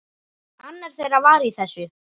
Annar þeirra var í þessu!